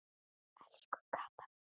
Elsku Kata mín.